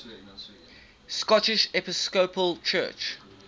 scottish episcopal church